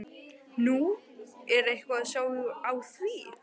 Nú, er eitthvað að sjá á því?